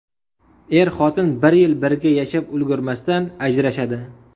Er-xotin bir yil birga yashab ulgurmasdan, ajrashadi.